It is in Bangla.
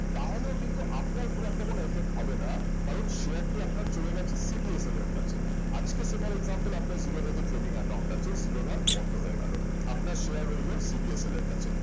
তাহলেও কিন্তু আপনার খুব একটা কোনো effect হবে না কারন share টি আপনার চলে গেছে CDSL এর কাছে আজকে . আপনার জিরোধাতে trading account আছে জিরোধা বন্ধ হয়ে গেল আপনার share রইলো CDSL এর কাছে